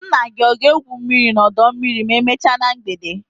Nna gị ọ ga-egwu mmiri n'ọdọ mmiri ma emechaa na mgbede?